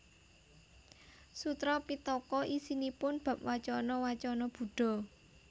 Sutra Pittaka isinipun bab wacana wacana Buddha